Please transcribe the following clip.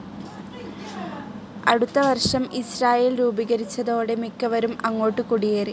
അടുത്ത വർഷം ഇസ്രായേൽ രൂപീകരിച്ചതോടെ മിക്കവരും അങ്ങോട്ട് കുടിയേറി.